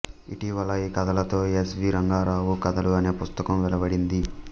ఇటీవల ఈ కథలతో ఎస్ వి రంగారావు కథలు అనే పుస్తకం వెలువడింది